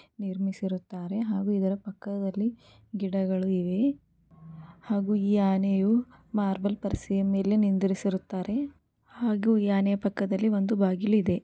ನಿರ್ಮಿಸಿರುತ್ತಾರೆ ಹಾಗು ಇದರ ಪಕ್ಕದಲ್ಲಿ ಗಿಡಗಳು ಇವೆ. ಹಾಗು ಈ ಆನೆಯು ಮಾರ್ಬಲ್ ಪರಸೆಯ ಮೇಲೆ ನಿಂದರಿಸಿರುತ್ತಾರೆ. ಹಾಗು ಈ ಆನೆಯ ಪಕ್ಕದಲ್ಲಿ ಒಂದು ಬಾಗಿಲು ಇದೆ.